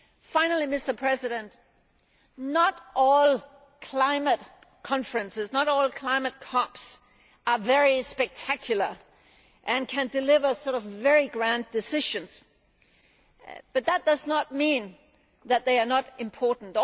Finally, Mr President, not all climate conferences, not all climate CoPs, are very spectacular and can deliver very grand decisions, but that does not mean that they are not important.